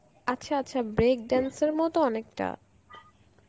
আচ্ছা আচ্ছা break dance এর মতো অনেকটা.